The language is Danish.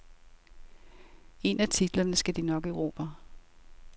En af titlerne skal de nok erobre.